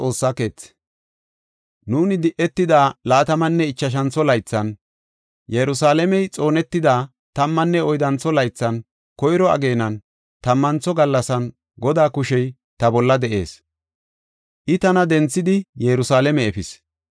Nuuni di7etida laatamanne ichashantho laythan, Yerusalaamey xoonetida tammanne oyddantho laythan, koyro ageenan, tammantho gallasan Godaa kushey ta bolla de7ees. I tana denthidi Yerusalaame efis.